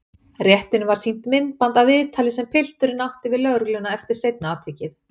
Réttinum var sýnt myndband af viðtali sem pilturinn átti við lögregluna eftir seinna atvikið.